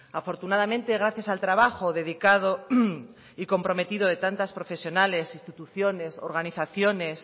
afortunadamente gracias al trabajo dedicado y comprometido de tantas profesionales instituciones organizaciones